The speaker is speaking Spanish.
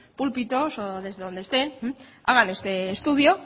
púlpitos o desde donde estén hagan este estudio